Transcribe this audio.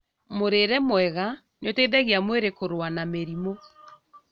Mũrĩre mwega nĩũteithagia mwĩrĩ kũrũa na mĩrimũ